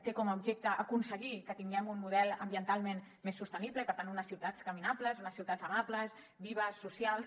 té com a objecte aconseguir que tinguem un model ambientalment més sostenible i per tant unes ciutats caminables unes ciutats amables vives socials